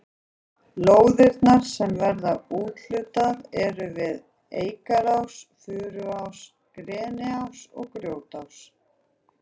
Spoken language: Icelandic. Lóðirnar sem verður úthlutað eru við Eikarás, Furuás, Greniás og Grjótás.